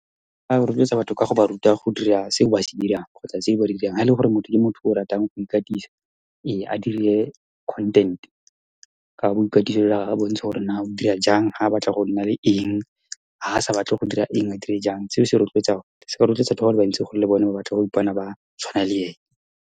A rotloetsa batho ka go ba ruta go dira se ba se dirang, kgotsa tse ba di dirang. Ha ele gore motho ke motho yo o ratang go ikatisa. Ee, a dire content-e ka go , a bontsha gore na o dira jang, ha batla go nna le eng, ha sa batle go dira eng, a dire jang. Seo se rotloetsa batho bale bantsi gore le bone ba batle go ipona ba tshwana le ene.